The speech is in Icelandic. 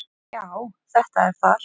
Já, þetta er þar